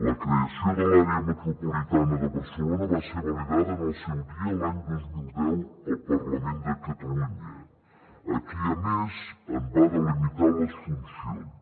la creació de l’àrea metropolitana de barcelona va ser validada en el seu dia l’any dos mil deu al parlament de catalunya qui a més en va delimitar les funcions